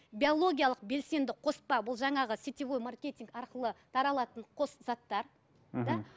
биологиялық белсенді қоспа бұл жаңағы сетевой маркетинг арқылы таралатын қос заттар